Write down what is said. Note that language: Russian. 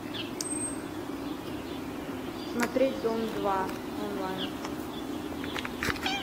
смотреть дом два онлайн